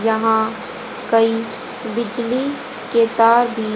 जहां कई बिजली के तार भी --